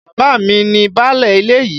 Bàbá mi ni báálẹ̀ ilẹ̀ yìí.